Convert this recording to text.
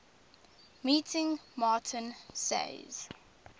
meeting martin says